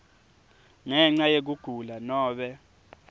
ngenca yekugula nobe